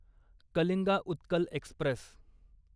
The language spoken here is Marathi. कलिंगा उत्कल एक्स्प्रेस